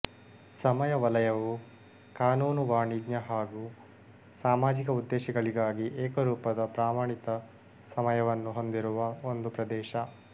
ಸಮಯ ವಲಯವು ಕಾನೂನು ವಾಣಿಜ್ಯ ಹಾಗು ಸಾಮಾಜಿಕ ಉದ್ದೇಶಗಳಿಗಾಗಿ ಏಕರೂಪದ ಪ್ರಮಾಣಿತ ಸಮಯವನ್ನು ಹೊಂದಿರುವ ಒಂದು ಪ್ರದೇಶ